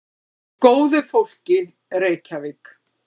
Með góðu fólki, Reykjavík.